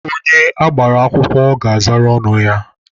Onye agbara akwụkwọ ga-azara ọnụ ya.